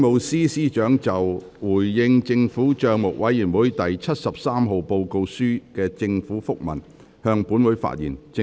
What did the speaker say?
政務司司長就"回應政府帳目委員會第七十三號報告書的政府覆文"向本會發言。